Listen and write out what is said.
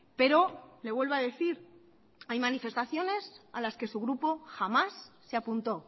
pero le vuelvo a decir hay manifestaciones a las que su grupo jamás se apuntó